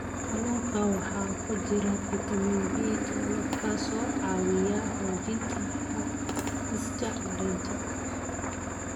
Kalluunka waxaa ku jira fitamiin B12 kaas oo caawiya xoojinta habdhiska dareenka.